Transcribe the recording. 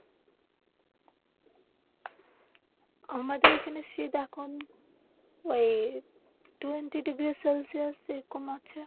আমাদের এখানে শীত এখন ওই টোয়েন্টি ডিগ্রী সেলসিয়াস এরকম আছে.